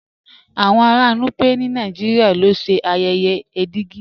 Awọn ara Núpẹ̀ ni Nàìjíríà ló ṣẹ́ ayèyè Ègídì.